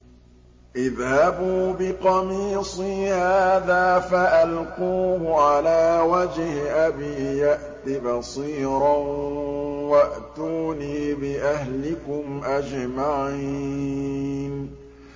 اذْهَبُوا بِقَمِيصِي هَٰذَا فَأَلْقُوهُ عَلَىٰ وَجْهِ أَبِي يَأْتِ بَصِيرًا وَأْتُونِي بِأَهْلِكُمْ أَجْمَعِينَ